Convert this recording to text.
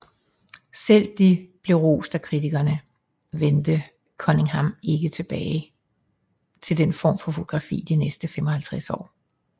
Selvom de blev rost af kritikerne vendte Cunningham ikke tilbage til den form for fotografi de næste 55 år